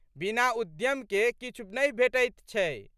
बिना उद्यम के किछु नहि भेटैत छै।